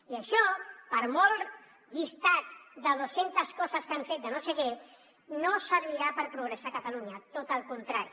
i això per molt llistat de dos centes coses que han fet de no sé què no servirà per progressar a catalunya tot el contrari